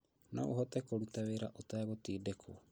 Noũhote kũruta wĩra ũtagũtindĩkwo